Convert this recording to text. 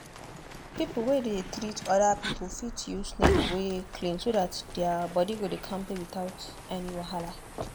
people wey dey treat other people fit use needle wey clean so that their that their body go dey kampe without any wahala.